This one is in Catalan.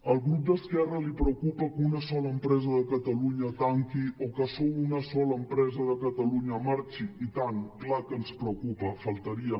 al grup d’esquerra li preocupa que una sola empresa de catalunya tanqui o que una sola empresa de catalunya marxi i tant clar que ens preocupa només faltaria